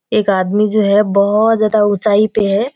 एक आदमी जो हैं बहोत ज्यादा ऊंचाई पे है।